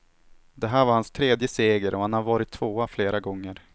Det här var hans tredje seger, och han har varit tvåa flera gånger.